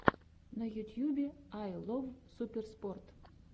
на ютьюбе ай лов суперспорт